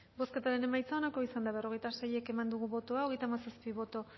bozketaren emaitza onako izan da berrogeita sei eman dugu bozka hogeita hamazazpi boto